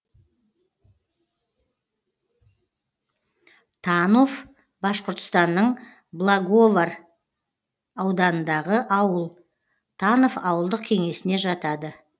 танов башқұртстанның благовар ауданындағы ауыл танов ауылдық кеңесіне жатады